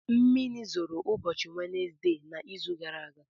Mmiri zoro ụbọchị wednesdee na izu gara aga